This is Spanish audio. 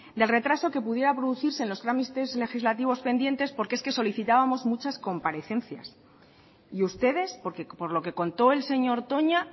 del retraso que pudiera producirse en los trámites legislativos pendientes porque es que solicitábamos muchas comparecencias y ustedes porque por lo que contó el señor toña